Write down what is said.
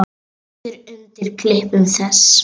Svíður undan klipum þess.